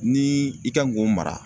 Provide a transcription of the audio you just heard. Ni i kan k'o mara